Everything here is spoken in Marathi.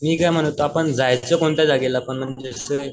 मी काय म्हणत होतो आपण जायचं कोणत्या जागेला